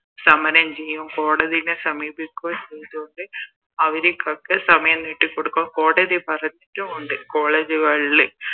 സമരം ചെയ്യും കോടതിനെ സമീപിക്കുകയും ചെയ്തകൊണ്ട് അവരിക്കൊക്കെ സമയം നീട്ടി കൊടുക്കും കോടതി പറഞ്ഞത് കൊണ്ട് College കളില്